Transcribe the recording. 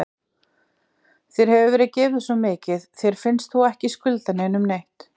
Þér hefur verið gefið svo mikið, finnst þér þú ekki skulda neinum neitt?